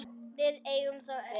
Við eigum þá öll.